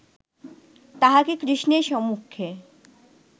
তাহাকে কৃষ্ণের সম্মুখে